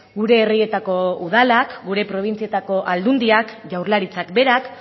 gure herrietako udalak gure probintzietako aldundiak jaurlaritzak berak